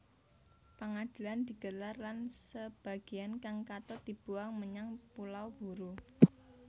Pangadilan digelar lan sebagéan kang katut dibuang menyang Pulau Buru